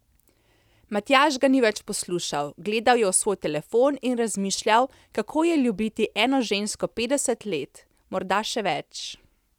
Matjaž ga ni več poslušal, gledal je v svoj telefon in razmišljal, kako je ljubiti eno žensko petdeset let, morda še več.